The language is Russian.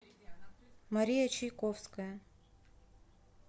мария чайковская